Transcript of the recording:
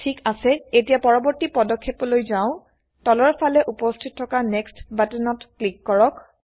ঠিক আছে এতিয়া পৰবৰ্তী পদক্ষেপ লৈ যাও তলৰ ফালে উপস্থিত থকা নেক্সট বাটনত ক্লিক কৰক